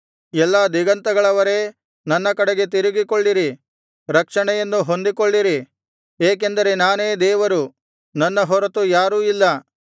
ಎಲ್ಲಾ ದಿಗಂತಗಳವರೇ ನನ್ನ ಕಡೆಗೆ ತಿರುಗಿಕೊಳ್ಳಿರಿ ರಕ್ಷಣೆಯನ್ನು ಹೊಂದಿಕೊಳ್ಳಿರಿ ಏಕೆಂದರೆ ನಾನೇ ದೇವರು ನನ್ನ ಹೊರತು ಯಾರೂ ಇಲ್ಲ